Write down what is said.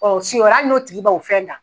siyɛn wɛrɛ hali n'o tigi ba o fɛn dan